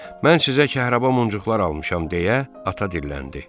Mən sizə kəhraba muncuqlar almışam deyə ata dilləndi.